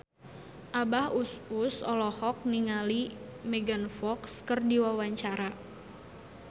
Abah Us Us olohok ningali Megan Fox keur diwawancara